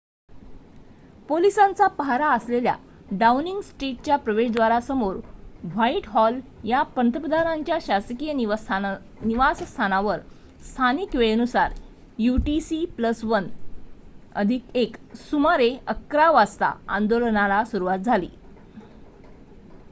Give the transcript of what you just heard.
पोलिसांचा पाहारा असलेल्या डाउनिंग स्ट्रिटच्या प्रवेशद्वारासमोर व्हाइटहॉल या पंतप्रधानांच्या शासकिय निवासस्थानावर स्थानिक वेळेनुसार utc+१ सुमारे ११ः०० वाजता आंदोलनाला सुरुवात झाली